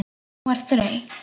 Hún var þreytt.